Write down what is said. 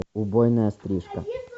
убойная стрижка